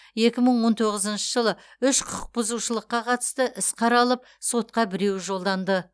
екі мың он тоғызыншы жылы үш құқық бұзушылыққа қатысты іс қаралып сотқа біреуі жолданды